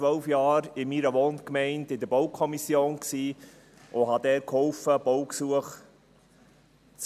Ich war in meiner Wohngemeinde 12 Jahre in der Baukommission und beteiligte mit dort an der Genehmigung von Baugesuchen.